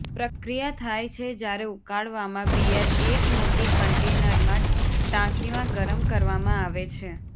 પ્રક્રિયા થાય છે જ્યારે ઉકાળવામાં બીયર એક મોટી કન્ટેનર માં ટાંકીમાં ગરમ કરવામાં આવે છે